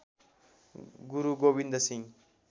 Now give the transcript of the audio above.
Guru Gobind Singh